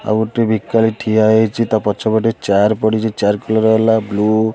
ଆଉ ଗୋଟ ଭିକାରୀ ଠିଆ ହେଇଚି ତା ପଛ ପଟେ ଚେୟାର ପଡିଚି ଚେୟାର କଲର ହେଲା ବ୍ଲୁ ।